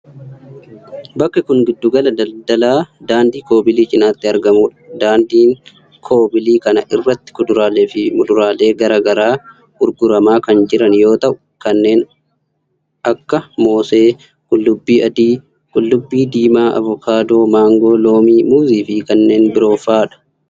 Bakki kun giddu gala daldalaa daandii koobilii cinaatti argamuu dha. Daandii koobilii kana irratti kuduraalee fi muduraaleen garaa garaa gurguramaa kan jiran yoo ta'u, kunneen kan akka:moosee, qullubbii adii, qullubbii diimaa, avokaadoo, maangoo, loomii, muuzii fi kanneen biroo faa dha.